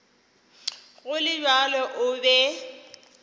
go le bjalo o be